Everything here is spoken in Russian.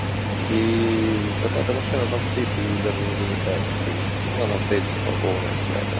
и какая-то машина там стоит ты её даже не замечаешь в принципе вон она стоит припаркованная какая-то